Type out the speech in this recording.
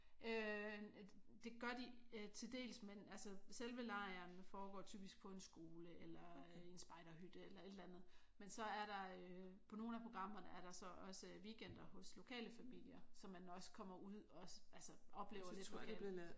Øh det gør de til dels men altså selve lejren foregår typisk på en skole eller i en spejderhytte eller et eller andet. Men så er der på nogle af programmerne er der så også weekender hos lokale familier så man også kommer ud og så altså oplever